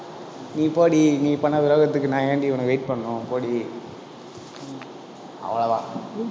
நீ போடி, நீ பண்ண துரோகத்துக்கு நான் ஏன்டி, உனக்கு wait பண்ணணும்? போடி அவ்வளவுதான்.